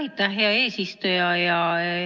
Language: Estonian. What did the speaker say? Aitäh, hea eesistuja!